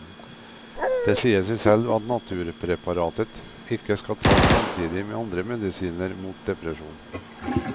Det sier seg selv at naturpreparatet ikke skal taes samtidig med andre medisiner mot depresjon.